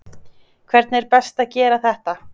Hvernig er best að gera þetta?